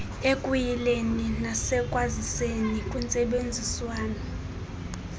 ekuyileni nasekwaziseni kwintsebenziswano